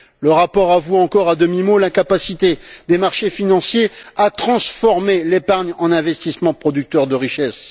Le rapport avoue encore à demi mot l'incapacité des marchés financiers à transformer l'épargne en investissement producteur de richesse.